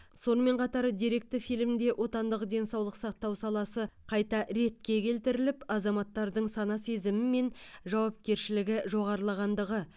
сонымен қатар деректі фильмде отандық денсаулық сақтау саласы қайта ретке келтіріліп азаматтардың сана сезімі мен жауапкершілігі жоғарылағандығы